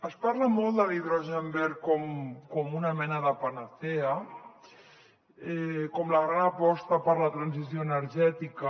es parla molt de l’hidrogen verd com una mena de panacea com la gran aposta per a la transició energètica